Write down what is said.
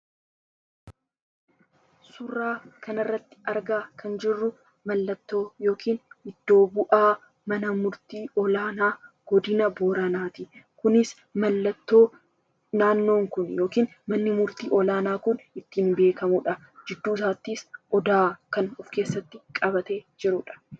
Suuraa kanarratti argaa kan jirru mallattoo yookiin iddoo bu'aa mana murtii olaanaa godina Booranaati. Kunis, naannoo kun yookiin manni murtii olaanaa kun mallattoo ittiin beekamudha. Gidduu isaattis Odaa of keessatti qabateera.